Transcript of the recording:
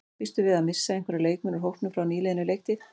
Býstu við að missa einhverja leikmenn úr hópnum frá nýliðinni leiktíð?